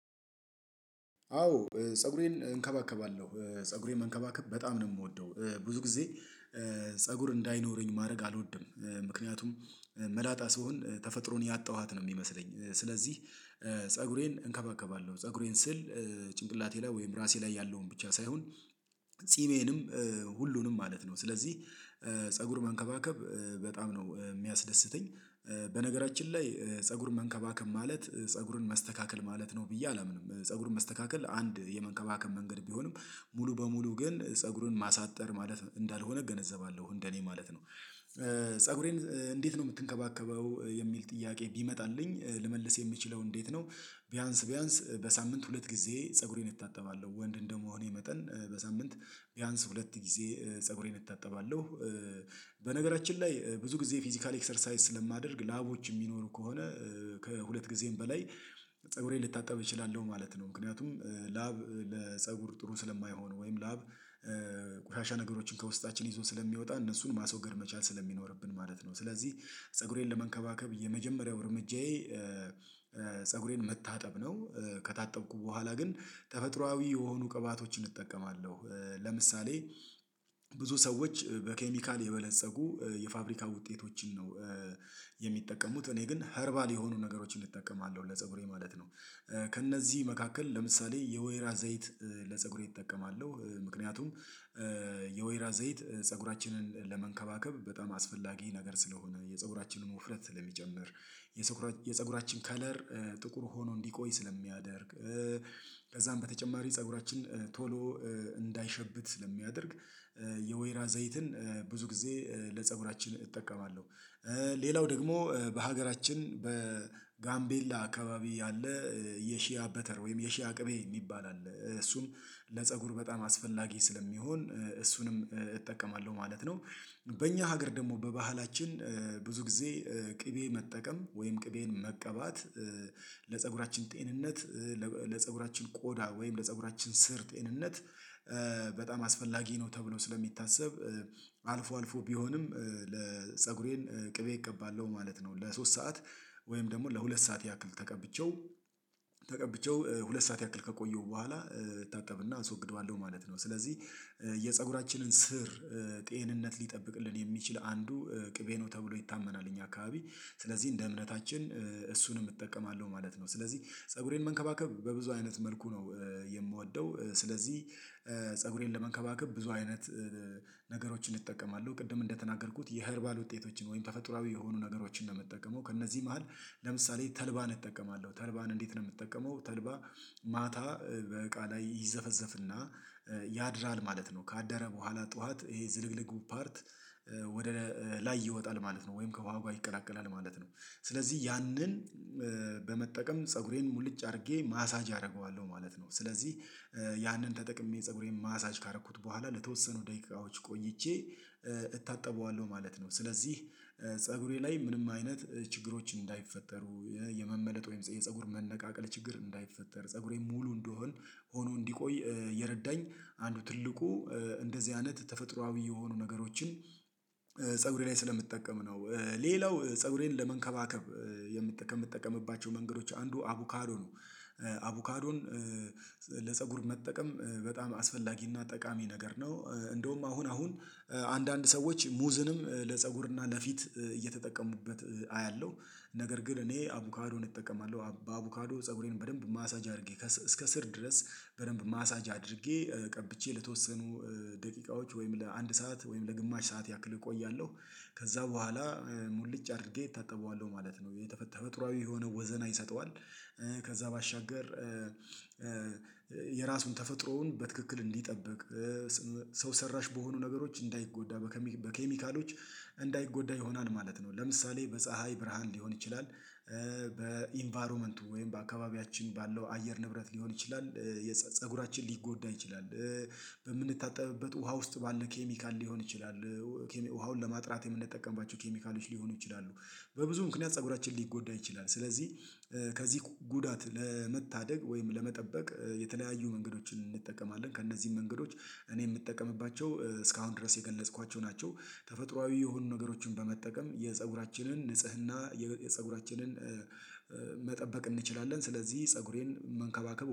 አዎ ፀጉሬን እንከባከባለሁ ፀጉሬን መንከባከብ በጣም ነው የምወደው ብዙ ጊዜ ፀጉር እንዳይኖረኝ ማድረግ አልወድም ምክንያቱም መላጣ ስሆን ተፈጥሮን ያጣኋት ነው የሚመስለኝ ስለዚህ። ፀጉሬን እንከባከባለሁ ፀጉሬን ስል ጭንቅላቴ ላይ ወይም ራሴ ላይ ያለውን ብቻ ሳይሆን ጺሜንም ሁሉንም ማለት ነው ስለዚህ ፀጉር መንከባከብ በጣም ነው የሚያስደስተኝ። በነገራችን ላይ ፀጉር መንከባከብ ማለት ፀጉርን መስተካከል ማለት ነው ብዬ አላምንም ፀጉርን መስተካከል አንድ የመንከባከብ መንገድ ቢሆንም ሙሉ በሙሉ ግን ፀጉግን ማሳጠር ማለት እንዳልሆነ እገነዘባለሁ እንደኔ ማለት ነው። ፀጉሬን እንዴት ነው የምትንከባከበው? የሚል ጥያቄ ቢመጣልኝ ልመልስ የምችለው እንዴት ነው ቢያንስ ቢያንስ በሳምንት ሁለት ጊዜ ፀጉሬን እታጠባለሁ ወንድ እንደመሆኔ መጠን በሳምንት ቢያንስ ሁለት ጊዜ ፀጉሬን እታጠባለሁ። በነገራችን ላይ ብዙ ጊዜ ፊዚካል ኤክሰርሳይዝ ስለማደርግ ላቦች የሚኖሩ ከሆነ ከሁለት ጊዜም በላይ ፀጉሬን ልታጠብ እችላለሁ ማለት ነው። ምክንያቱም ላብ ለፀጉር ጥሩ ስለማይሆን ወይም ላብ ቆሻሻ ነገሮችን ከውስጣችን ይዞ ስለሚወጣ እነሱን ማስወገድ መቻል ስለሚኖርብን ማለት ነው። ስለዚህ ፀጉሬን ለመንከባከብ የመጀመሪያው እርምጃዬ ፀጉሬን መታጠብ ነው። ከታጠብኩ በኋላ ግን ተፈጥሮአዊ የሆኑ ቅባቶችን እጠቀማለሁ ለምሳሌ ብዙ ሰዎች በኬሚካል የበለፀጉ የፋብሪካ ውጤቶችን ነው የሚጠቀሙት እኔ ግን ኸርባል የሆኑ ነገሮችን እጠቀማለሁ ለፀጉሬ ማለት ነው። ከእነዚህ መካከል ለምሳሌ የወይራ ዘይት ለፀጉሬ እጠቀማለሁ ምክንያቱም የወይራ ዘይት ፀጉራችንን ለመንከባከብ በጣም አስፈላጊ ነገር ስለሆነ የፀጉራችንን ውፍረት ስለሚጨምር የፀጉራችን ከለር ጥቁር ሆኖ እንዲቆይ ስለሚያደርግ ከዛም በተጨማሪ ፀጉራችን ቶሎ እንዳይሸብት ስለሚያደርግ የወይራ ዘይትን ብዙ ጊዜ ለፀጉራችን እጠቀማለሁ። ሌላው ደግሞ በሀገራችን በጋምቤላ አካባቢ ያለ የሺያ በተር ወይም የሺያ ቅቤ የሚባል አለ እሱም ለፀጉር በጣም አስፈላጊ ስለሚሆን እሱንም እጠቀማለሁ ማለት ነው። በእኛ ሀገር ደግሞ በባህላችን ብዙ ጊዜ ቅቤ መጠቀም ወይም ቅቤን መቀባት ለፀጉራችን ጤንነት ለፀጉራችን ቆዳ ወይም ለፀጉራችን ስር ጤንነት በጣም አስፈላጊ ነው። ተብሎ ስለሚታሰብ አልፎ አልፎ ቢሆንም ለፀጉሬን ቅቤ እቀባለሁ ማለት ነው። ለሶስት ሰዓት ወይም ደግሞ ለሁለት ሰዓት ያክል ተቀብቼው ተቀብቼው ሁለት ሰዓት ያክል ከቆየሁ በኋላ እታጠብና አስወግደዋለሁ ማለት ነው። ስለዚህ የፀጉራችንን ስር ጤንነት ሊጠብቅልን የሚችል አንዱ ቅቤ ነው ተብሎ ይታመናል። እኛ አካባቢ ስለዚህ እንደ እምነታችን እሱንም እጠቀማለሁ ማለት ነው። ስለዚህ ፀጉሬን መንከባከብ በብዙ አይነት መልኩ ነው የምወደው። ስለዚህ ፀጉሬን ለመንከባከብ ብዙ አይነት ነገሮችን እጠቀማለሁ ቅድም እንደተናገርኩት የኸርባል ውጤቶችን ወይም ተፈጥሮአዊ የሆኑ ነገሮችን ነው የምጠቀመው። ከእነዚህ መሃል ለምሳሌ ተልባን እጠቀማለሁ ተልባን እንዴት ነው የምትጠቀመው? ተልባ ማታ በእቃ ላይ ይዘፈዘፍና ያድራል ማለት ነው። ካደረ በኋላ ጠዋት ይሄ ዝልግልጉ ፓርት ወደ ላይ ይወጣል ማለት ነው። ወይም ከዋጋ ይቀራቀላል ማለት ነው። ስለዚህ ያንን በመጠቀም ፀጉሬን ሙልጭ አድርጌ ማሳጅ አደርገዋለሁ ማለት ነው። ስለዚህ ያንን ተጠቅሜ ፀጉሬን ማሳጅ ካደረኩት በኋላ ለተወሰኑ ደቂቃዎች ቆይቼ እታጠበዋለሁ ማለት ነው። ስለዚህ ፀጉሬ ላይ ምንም አይነት ችግሮች እንዳይፈጠሩ የመመለጥ ወይም የፀጉር መነቃቀል ችግር እንዳይፈጠር ፀጉሬ ሙሉ እንደሆን ሆኖ እንዲቆይ የረዳኝ አንዱ ትልቁ እንደዚህ አይነት ተፈጥሮአዊ የሆኑ ነገሮችን ፀጉሬ ላይ ስለምትጠቀም ነው። ሌላው ፀጉሬን ለመንከባከብ የምትጠቀም ከምትጠቀምባቸው መንገዶች አንዱ አቡካዶ ነው። አቡካዶን ለፀጉር መጠቀም በጣም አስፈላጊና ጠቃሚ ነገር ነው። እንደውም አሁን አሁን አንዳንድ ሰዎች ሙዝንም ለፀጉርና ለፊት እየተጠቀሙበት አያለሁ ነገር ግን እኔ አቡካዶን እጠቀማለሁ በአቡካዶ ፀጉሬን በደንብ ማሳጅ አድርጌ እስከ ስር ድረስ በደንብ ማሳጅ አድርጌ ቀብቼ ለተወሰኑ ደቂቃዎች ወይም ለአንድ ሰዓት ወይም ለግማሽ ሰዓት ያክል እቆያለሁ ከዛ በኋላ ሙልጭ አድርጌ እታጠበዋለሁ ማለት ነው። ተፈጥሮአዊ የሆነ ወዘና ይሰጠዋል። ከዛ ባሻገር የራሱን ተፈጥሮውን በትክክል እንዲጠብቅ ሰው ሰራሽ በሆኑ ነገሮች እንዳይጎዳ በኬሚካሎች እንዳይጎዳ ይሆናል ማለት ነው። ለምሳሌ በፀሀይ ብርሃን ሊሆን ይችላል። በኢንቫይሮመንቱ ወይም በአካባቢያችን ባለው አየር ንብረት ሊሆን ይችላል። የፀጉራችን ሊጎዳ ይችላል። በምንታጠብበት ውሃ ውስጥ ባለ ኬሚካል ሊሆን ይችላል። ውሃውን ለማጥራት የምንጠቀምባቸው ኬሚካሎች ሊሆኑ ይችላሉ። በብዙ ምክንያት ፀጉራችን ሊጎዳ ይችላል። ስለዚህ ከዚህ ጉዳት ለመታደግ ወይም ለመጠበቅ የተለያዩ መንገዶችን እንጠቀማለን ከእነዚህ መንገዶች እኔ የምጠቀምባቸው እስካሁን ድረስ የገለጽኳቸው ናቸው። ተፈጥሮአዊ የሆኑ ነገሮችን በመጠቀም የፀጉራችንን የፀጉራችንን መጠበቅ እንችላለን። ስለዚህ ፀጉሬን መንከባከብ